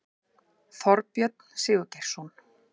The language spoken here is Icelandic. Þorbjörn Sigurgeirsson